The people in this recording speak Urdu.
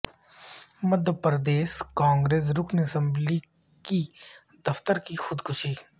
مدھیہ پردیش کانگریس رکن اسمبلی کی دختر کی خودکشی